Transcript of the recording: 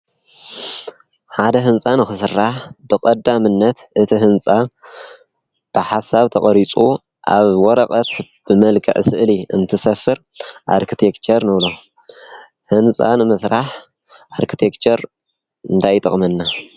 ሓደ ሕንፃ ንኽሥራሕ ብቐዳ ምነት እቲ ሕንጻ ብሓሳብ ተቐሪጹ ኣብ ወረቐት ብመልክዕ ስእሊ እንትሰፍር ኣርክቲኬቸር ንብሎ። ሕንፃ ንምስራሕ ኣርክቴክቸር እንታይ ይጠቕመና?